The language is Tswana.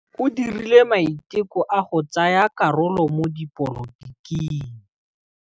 O dirile maitekô a go tsaya karolo mo dipolotiking.